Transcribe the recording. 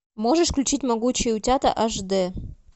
можешь включить могучие утята аш дэ